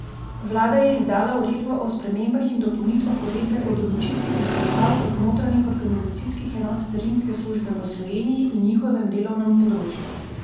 Vlada je izdala uredbo o spremembah in dopolnitvah uredbe o določitvi izpostav kot notranjih organizacijskih enot carinske službe v Sloveniji in njihovem delovnem področju.